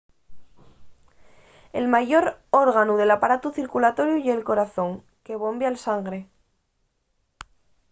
el mayor órganu del aparatu circulatoriu ye'l corazón que bombia'l sangre